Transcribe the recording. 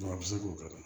a bɛ se k'o kɛ